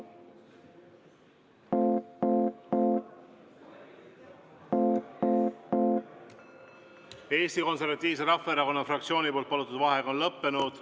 Eesti Konservatiivse Rahvaerakonna fraktsiooni palutud vaheaeg on lõppenud.